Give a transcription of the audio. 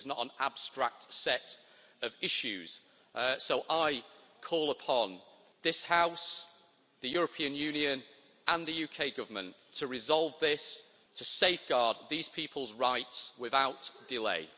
This is not an abstract set of issues, so I call upon this house, the European Union and the UK Government to resolve this to safeguard these people's rights without delay.